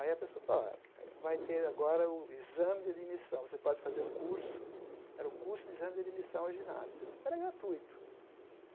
Aí a pessoa, vai ter agora o exame de admissão, você pode fazer um curso, era o curso de exame de admissão em ginásio, era gratuito.